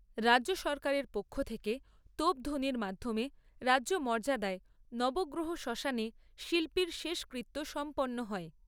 রাজ্য সরকারের পক্ষ থেকে তোপধ্বনির মাধ্যমে রাজ্য মর্যাদায় নবগ্রহ শ্মশানে শিল্পীর শেষকৃত্য সম্পন্ন হয়।